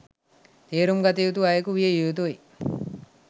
තේරුම් ගත් අයකු විය යුතුයි